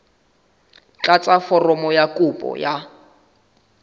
tlatsa foromo ya kopo ya